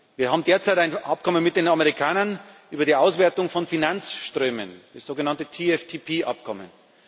Wir haben derzeit ein Abkommen mit den Amerikanern über die Auswertung von Finanzströmen, das sogenannte TFTP Abkommen.